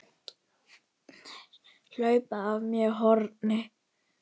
Hlaupa af mér hornin.